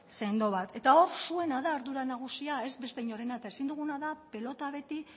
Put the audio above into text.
sendo bat eta hor zuena da ardura nagusia ez beste inorena ezin duguna da pilota beti